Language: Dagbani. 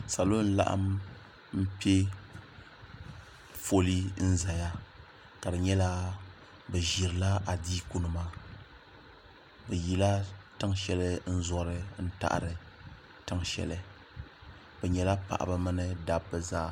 salo n laɣam n piɛ fooli n ʒɛya ka di nyɛla bi ʒirila adiiku nima bi yila tiŋ shɛli n zori n taɣari tiŋ shɛli bi nyɛla paɣaba mini dabba zaa